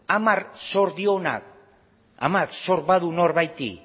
hamar zor dionak hamar zor badu norbaiti